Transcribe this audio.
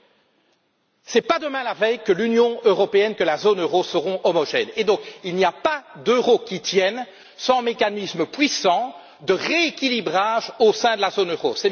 Ce n'est pas demain la veille que l'Union européenne et la zone euro seront homogènes, et donc il n'y a pas d'euro qui tienne sans mécanismes puissants de rééquilibrage au sein de la zone euro.